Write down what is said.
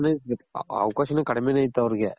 ಅವಕಾಶನು ಕಡ್ಮೇನೆ ಇತ್ತು ಅವರ್ಗೆ